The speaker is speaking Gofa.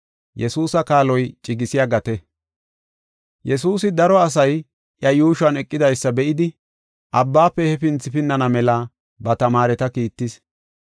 Yesuusi daro asay iya yuushuwan eqidaysa be7idi, abbaafe hefinthi pinnana mela ba tamaareta kiittis.